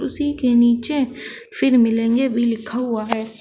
उसी के नीचे फिर मिलेंगे भी लिखा हुआ है।